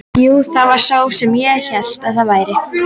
Jú, það var sá sem ég hélt að það væri!